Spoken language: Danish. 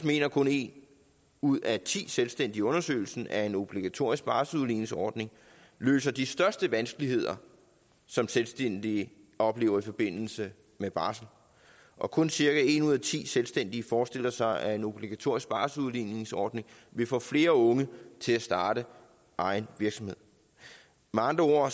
mener kun en ud af ti selvstændige i undersøgelsen at en obligatorisk barselsudligningsordning løser de største vanskeligheder som selvstændige oplever i forbindelse med barsel og kun cirka en ud af ti selvstændige forestiller sig at en obligatorisk barselsudligningsordning vil få flere unge til at starte egen virksomhed med andre